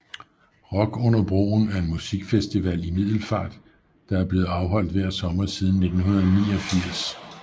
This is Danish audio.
Rock under broen er en musikfestival i Middelfart der er blevet afholdt hver sommer siden 1989